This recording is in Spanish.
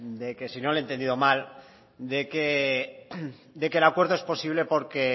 de que si no le he entendido mal de que el acuerdo es posible